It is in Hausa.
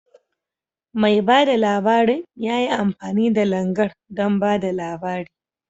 Mai bada labarin ya yi amfani da Langar don ba da labari.